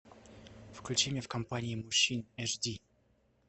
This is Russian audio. включи мне в компании мужчин эш ди